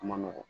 A ma nɔgɔn